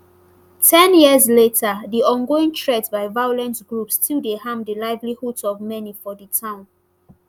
ten years later di ongoing threat by violent groups still dey harm di livelihoods of many for di town